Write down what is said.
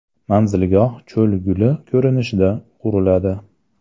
Manzilgoh cho‘l guli ko‘rinishida quriladi.